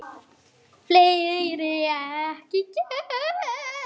Hann hjólaði eftir